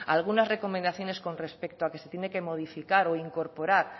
algunas recomendaciones con respecto a que se tiene que modificar o incorporar